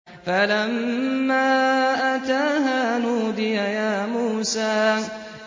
فَلَمَّا أَتَاهَا نُودِيَ يَا مُوسَىٰ